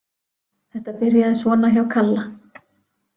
Þetta byrjaði svona hjá Kalla.